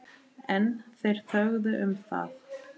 En þeir þögðu um það.